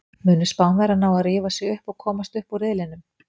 Munu Spánverjar ná að rífa sig upp og komast upp úr riðlinum?